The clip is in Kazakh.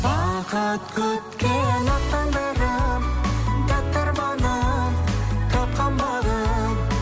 бақыт күткен ақ таңдарым тәтті арманым тапқан бағым